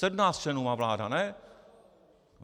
Sedmnáct členů má vláda, ne?